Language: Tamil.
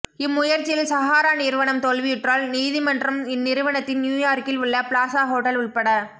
இம்முயற்சியில் சஹாரா நிறுவனம் தோல்வியுற்றால் நீதிமன்றம் இந்நிறுவனத்தின் நீயூயார்கில் உள்ள பிளாசா ஹோட்டல் உட்பட